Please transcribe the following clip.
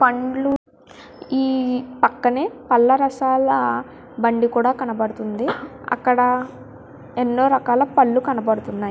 పండ్లు ఈ పక్కనే పళ్ళ రసాల బండి కూడా కనబడుతుంది. అక్కడ అనో రకాల పండ్లు కనపడుతున్నాయి.